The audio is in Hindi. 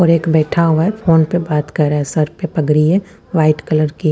और एक बैठा हुआ है फ़ोन पर बात कर रहा है सर पर पगड़ी है वाइट कलर की--